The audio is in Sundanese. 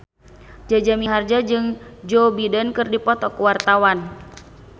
Jaja Mihardja jeung Joe Biden keur dipoto ku wartawan